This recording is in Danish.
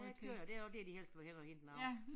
Ja kød og det også dér de helst vil hen og hente noget